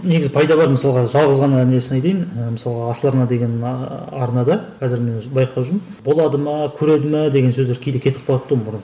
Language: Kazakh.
негізі пайда бар мысалға жалғыз ғана несін айтайын ыыы мысалға асыл арна деген арнада қазір мен өзі байқап жүрмін болады ма көреді ме деген сөздер кейде кетіп қалатын тұғын бұрын